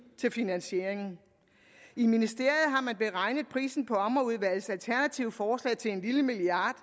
til finansieringen i ministeriet har man beregnet prisen på ommerudvalgets alternative forslag til en lille milliard